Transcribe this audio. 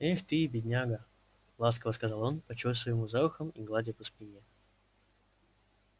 эх ты бедняга ласково сказал он почёсывая ему за ухом и гладя по спине